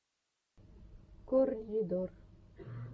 корридор